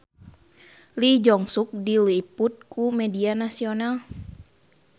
Lee Jeong Suk diliput ku media nasional